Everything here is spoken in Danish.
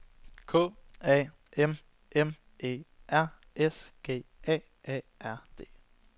K A M M E R S G A A R D